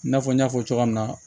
I n'a fɔ n y'a fɔ cogoya min na